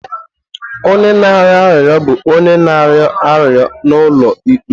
Onye na-arịọ arịrịọ bụ onye na-arịọ arịrịọ n'ụlọ ikpe.